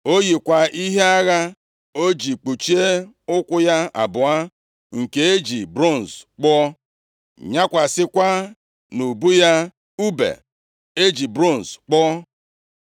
O yikwa ihe agha o ji kpuchie ụkwụ ya abụọ nke e ji bronz kpụọ, nyakwasịkwa nʼubu ya ùbe e ji bronz kpụọ.